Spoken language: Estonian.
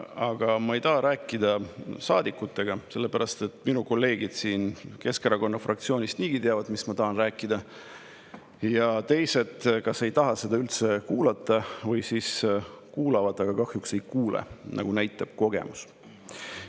Aga ma ei taha rääkida saadikutega, sest minu kolleegid Keskerakonna fraktsioonist teavad niigi, mida ma tahan rääkida, ja teised kas ei taha seda üldse kuulata või siis kuulavad, aga kahjuks ei kuule, nagu näitab kogemus.